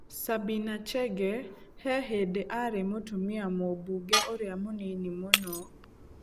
Sabina Chege he hĩndĩ aarĩ mũtumia Mũmbunge ũrĩa mũnini mũno.